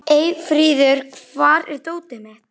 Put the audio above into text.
Eyfríður, hvar er dótið mitt?